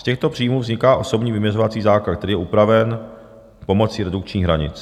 Z těchto příjmů vzniká osobní vyměřovací základ, který je upraven pomocí redukčních hranic.